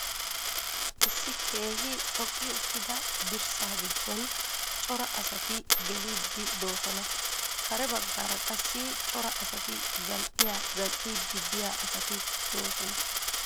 Issi keehi xoqqi uttida dirssa giddo cora asati geliiddi doosona. Kare baggaara qassi cora asati zal'iya zal"iiddi diya asati doosona.